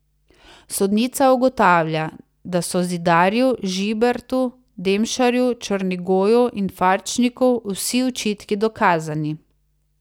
Sodnica ugotavlja, da so Zidarju, Žibertu, Demšarju, Črnigoju in Farčniku vsi očitki dokazani.